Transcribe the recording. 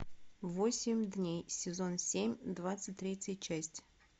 восемь дней сезон семь двадцать третья часть